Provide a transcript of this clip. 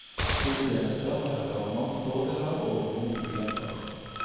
Flytjenester medfører mange fordeler, og noen ulemper.